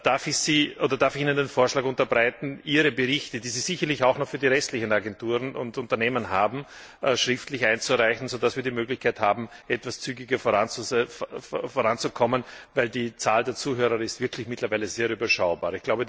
Darf ich Ihnen den Vorschlag unterbreiten, Ihre Berichte, die Sie sicherlich auch noch für die restlichen Agenturen und Unternehmen haben, schriftlich einzureichen, sodass wir die Möglichkeit haben, etwas zügiger voranzukommen, denn die Zahl der Zuhörer ist wirklich mittlerweile sehr überschaubar.